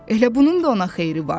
Elə bunun da ona xeyri vardı.